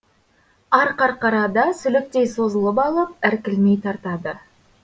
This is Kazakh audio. арқарқара да сүліктей созылып алып іркілмей тартады